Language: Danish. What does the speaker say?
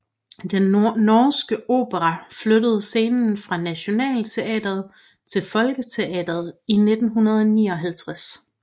Den Norske Opera flyttede scene fra Nationaltheatret til Folketeatret i 1959